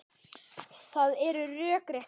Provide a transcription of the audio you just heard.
Það er rökrétt skref.